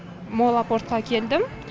молл апортқа келдім